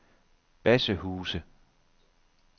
Bassehuse